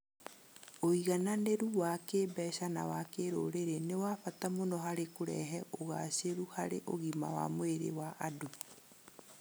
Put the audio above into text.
Ũigananĩru wa kĩĩmbeca na wa kĩrũrĩrĩ nĩ wa bata mũno harĩ kũrehe ũgaacĩru harĩ ũgima wa mwĩrĩ wa andũ.